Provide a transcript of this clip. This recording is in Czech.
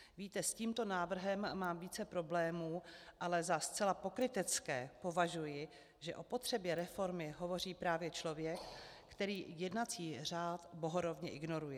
Víte, s tímto návrhem mám více problémů, ale za zcela pokrytecké považuji, že o potřebě reformy hovoří právě člověk, který jednací řád bohorovně ignoruje.